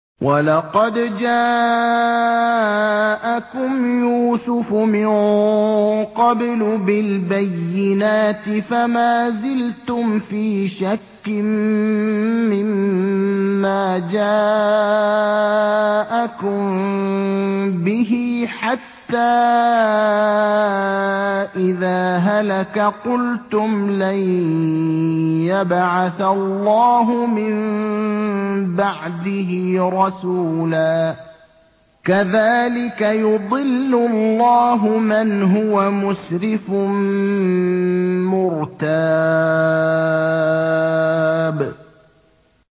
وَلَقَدْ جَاءَكُمْ يُوسُفُ مِن قَبْلُ بِالْبَيِّنَاتِ فَمَا زِلْتُمْ فِي شَكٍّ مِّمَّا جَاءَكُم بِهِ ۖ حَتَّىٰ إِذَا هَلَكَ قُلْتُمْ لَن يَبْعَثَ اللَّهُ مِن بَعْدِهِ رَسُولًا ۚ كَذَٰلِكَ يُضِلُّ اللَّهُ مَنْ هُوَ مُسْرِفٌ مُّرْتَابٌ